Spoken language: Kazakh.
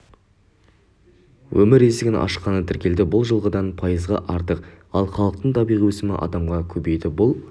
өмір есігін ашқаны тіркелді бұл жылғыдан пайызға артық ал халықтың табиғи өсімі адамға көбейді бұл